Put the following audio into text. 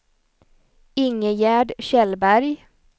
Ingegärd Kjellberg